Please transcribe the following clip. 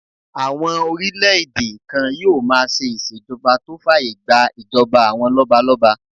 Àwọn orílẹ̀-èdè kan yóò máa ṣe ìṣèjọba tó fàyè gbà ìjọba àwọn lọ́balọ́ba